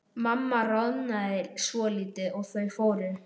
Mamma roðnaði svolítið og þau fóru.